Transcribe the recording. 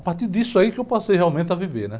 A partir disso aí que eu passei realmente a viver, né?